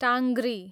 टाङ्ग्री